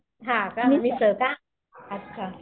हां का मिसळ का अच्छा.